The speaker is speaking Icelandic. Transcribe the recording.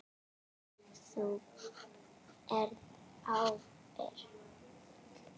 Þú berð ábyrgð.